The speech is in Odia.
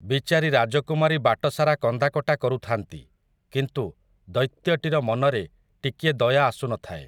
ବିଚାରି ରାଜକୁମାରୀ ବାଟସାରା କନ୍ଦାକଟା କରୁଥାନ୍ତି, କିନ୍ତୁ, ଦୈତ୍ୟଟିର ମନରେ, ଟିକିଏ ଦୟା ଆସୁନଥାଏ ।